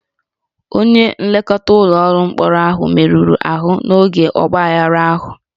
Onye nlekọta ụlọ mkpọrọ ahụ merụrụ ahụ n'oge ọgbaaghara ahụ